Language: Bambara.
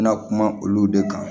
N bɛna kuma olu de kan